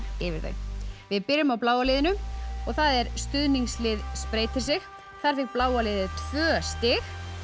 yfir þau við byrjum á bláa liðinu og það er stuðningslið spreytir sig þar fékk bláa liðið tvö stig